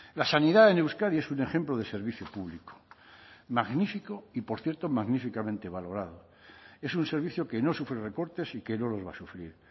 la sanidad en euskadi es un ejemplo de servicio público magnífico y por cierto magníficamente valorado es un servicio que no sufre recortes y que no los va a sufrir